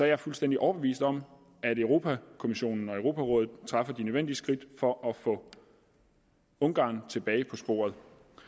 jeg fuldstændig overbevist om at europa kommissionen og europarådet tager de nødvendige skridt for at få ungarn tilbage på sporet